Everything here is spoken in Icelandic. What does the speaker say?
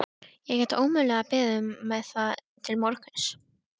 Ég get ómögulega beðið með það til morguns.